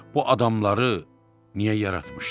Bu adamları niyə yaratmışdım?